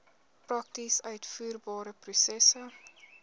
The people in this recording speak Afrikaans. prakties uitvoerbare prosesse